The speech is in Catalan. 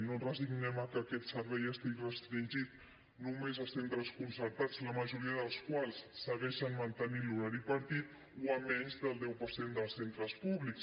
no ens resignem a que aquest servei estigui restringit només a centres concertats la majoria dels quals segueixen mantenint l’horari partit o a menys del deu per cent dels centres públics